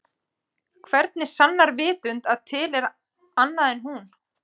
Hvernig sannar vitund að til er annað en hún?